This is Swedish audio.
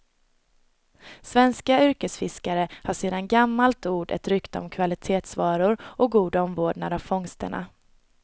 Svenska yrkesfiskare har sedan gammalt ord och rykte om kvalitetsvaror och god omvårdnad av fångsterna.